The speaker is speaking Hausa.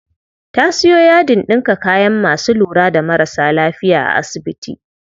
Ta siyo yadin ɗinka kayan masu lura da marasa lafiya a asibiti.